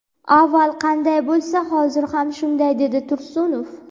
Avval qanday bo‘lsa, hozir ham shunday dedi Tursunov.